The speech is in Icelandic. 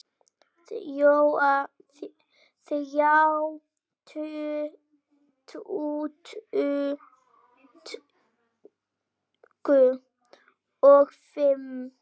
Þrjá tuttugu og fimm